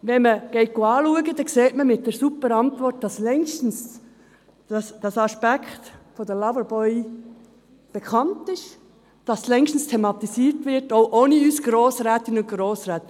Wenn man die super Antwort anschaut, sieht man, dass der Aspekt des Loverboys längst bekannt ist, dass es längst thematisiert wird, auch ohne uns Grossrätinnen und Grossräte.